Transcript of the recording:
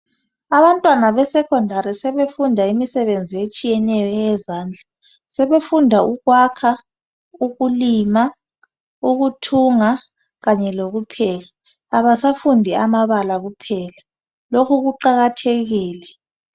Abantwana besekhondari sebefunda imisebenzi etshiyeneyo eyazandla. Sebefunda ukwakha, ukulima ukuthunga kanye lokupheka. Abasafundi amabala kuphela lokhu kuqakathekile.